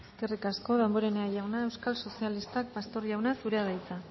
eskerrik asko damborenea jauna euskal sozialistak pastor jauna zurea da hitza